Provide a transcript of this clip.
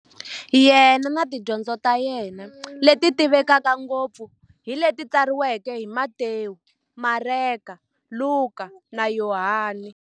Yena na tidyondzo ta yena, leti tivekaka ngopfu hi leti tsariweke hi Matewu, Mareka, Luka, na Yohani.